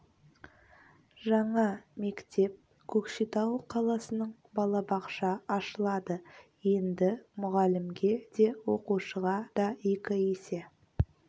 жаңа мектеп көкшетау қаласының балабақша ашылады енді мұғалімге де оқушыға да екі есе